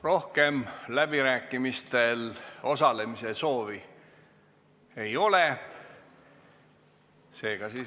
Rohkem läbirääkimistel osalemise soovi ei ole.